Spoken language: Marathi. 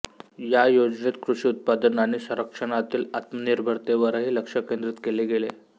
या योजनेत कृषी उत्पादन आणि संरक्षणातील आत्मनिर्भरतेवरही लक्ष केंद्रित केले गेले